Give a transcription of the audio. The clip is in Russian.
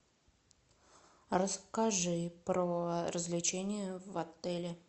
расскажи про развлечения в отеле